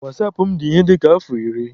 Wasapụ m dị ihe dịka afọ iri.